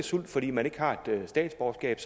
sult fordi man ikke har statsborgerskab